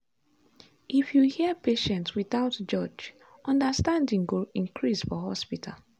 if you hear patients without judge understanding go increase for hospital.